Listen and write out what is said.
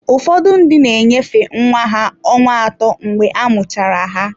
Ụfọdụ ndị na-enyefe nwa ha ọnwa atọ mgbe a muchara ya.